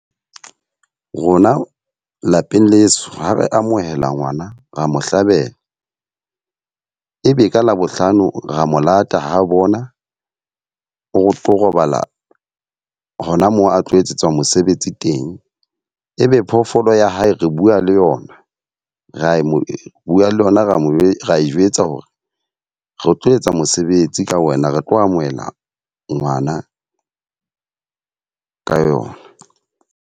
Rona lapeng leso, ha re amohela ngwana, ra mo hlabela. E be ka Labohlano ra mo lata ha bona o tlo robala hona moo a tlo etsetswa mosebetsi teng. Ebe phoofolo ya hae re bua le yona, ra e mo bua le yona, ra mo jwetsa hore re tlo etsa mosebetsi ka wena. Re tlo amohela ngwana ka yona.